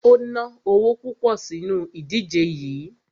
O ná owo púpọ̀ sínu ìdíje yií.